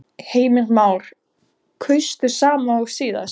Heimir Már: Kaustu sama og síðast?